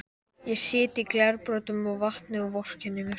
Íslandi að ráða og gátu fjarstýrt embættismönnum á borð við